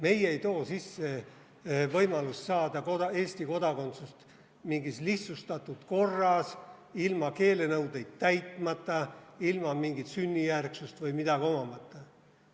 Meie ei too sisse võimalust saada Eesti kodakondsust mingis lihtsustatud korras, ilma keelenõudeid täitmata, ilma mingit sünnijärgsust omamata.